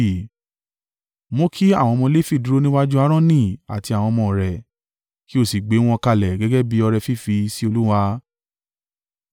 Mú kí àwọn ọmọ Lefi dúró níwájú Aaroni àti àwọn ọmọ rẹ̀ kí ó sì gbé wọn kalẹ̀ gẹ́gẹ́ bí ọrẹ fífì sí Olúwa.